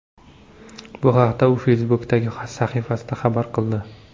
Bu haqda u Facebook’dagi sahifasida xabar qildi .